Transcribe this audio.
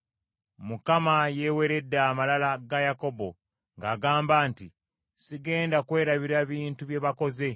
Mukama yeeweredde amalala ga Yakobo ng’agamba nti, “Sigenda kwerabira bintu bye bakoze.